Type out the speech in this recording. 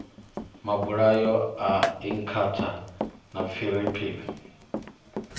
mabulayo a inkatha na pfiriri